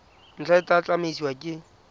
ntlha e tla tsamaisiwa ke